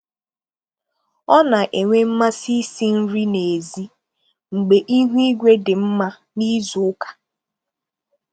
Ọ na-enwe mmasị isi nri n'èzí mgbe ihu igwe dị mma n'izu ụka.